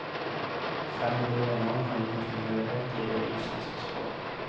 Fremmede ord og navn har ingen tilhørighet i det islandske språk.